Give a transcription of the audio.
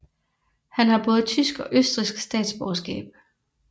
Han har både tysk og østrigsk statsborgerskab